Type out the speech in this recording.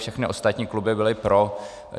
Všechny ostatní kluby byly pro.